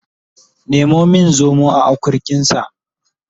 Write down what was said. Nemo min zomo a akurkinsa